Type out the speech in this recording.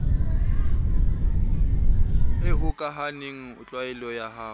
e hokahaneng tlwaelo ya ho